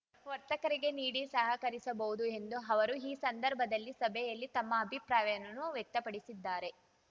ವರ್ತಕರಿಗೆ ನೀಡಿ ಸಹಕರಿಸಬಹುದು ಎಂದು ಅವರು ಈ ಸಂದರ್ಭದಲ್ಲಿ ಸಭೆಯಲ್ಲಿ ತಮ್ಮ ಅಭಿಪ್ರಾಯವನ್ನು ವ್ಯಕ್ತಪಡಿಸಿದ್ದಾರೆ